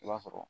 I b'a sɔrɔ